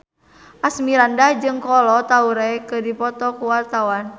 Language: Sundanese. Asmirandah jeung Kolo Taure keur dipoto ku wartawan